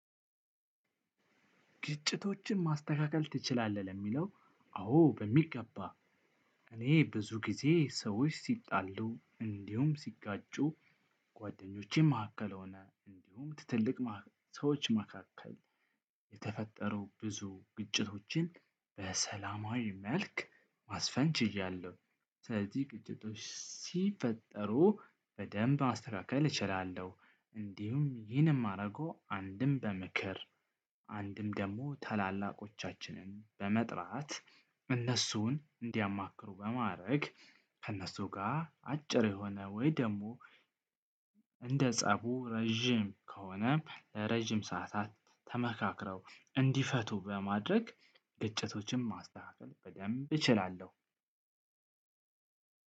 ግጭቶችን ማስተካከል ትችላለህ? ለሚለው አዎ በሚገባ። እኔ ብዙ ጊዜ ሰዎች ሲጣሉ እንዲሁም ሲጋጩ። ጓደኞቼ ማዕከል ሆነ እንዲሁም ትትልቅ ሰዎች መካከል የተፈጠሩ ብዙ ግጭቶችን በሰላማዊ መልክ ማስፈን ችያለሁ። ስለዚህ ግጭቶች ሲፈጠሩ በደንብ ማስተካከል እችላለሁ። እንዲሁም ይህን የማረገው አንድም በምክር አንድም ደሞ ታላላቆቻችንን በመጥራት እነሱን እንዲያማክሩ በማረግ። ከእነሱ ጋር አጭር የሆነ ወይ ደግሞ። እንደ ፀቡ ረዥም ከሆነ ረጅም ሰዓታት ተመካክረው እንዲፈቱ በማድረግ። ግጭቶችን ማስተካከል በደንብ እችላለሁ።